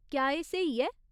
क्या एह् स्हेई ऐ?